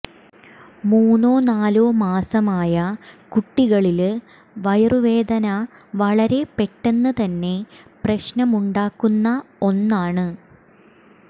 മൂന്നോ നാലോ മാസമായ കുട്ടികളില് വയറുവേദന വളരെ പെട്ടെന്ന് തന്നെ പ്രശ്നമുണ്ടാക്കുന്ന ഒന്നാണ്